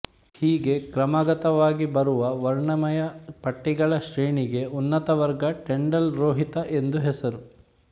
ಹೀಗೆ ಕ್ರಮಾಗತವಾಗಿ ಬರುವ ವರ್ಣಮಯ ಪಟ್ಟಿಗಳ ಶ್ರೇಣಿಗೆ ಉನ್ನತವರ್ಗ ಟಿಂಡಾಲ್ ರೋಹಿತ ಎಂದು ಹೆಸರು